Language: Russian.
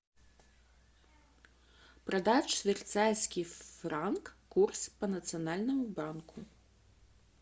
продать швейцарский франк курс по национальному банку